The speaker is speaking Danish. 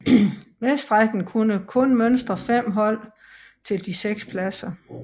Vestrækken kunne kun mønstre 5 hold til de 6 pladser